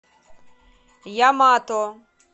ямато